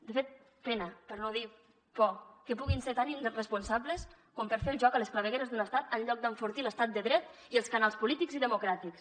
de fet pena per no dir por que puguin ser tan irresponsables com per fer el joc a les clavegueres de l’estat en lloc d’enfortir l’estat de dret i els canals polítics i democràtics